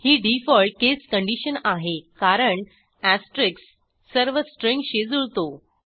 ही default case condition आहे कारण asterisk सर्व स्ट्रिंगशी जुळतो